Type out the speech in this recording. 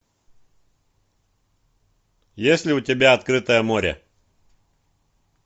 есть ли у тебя открытое море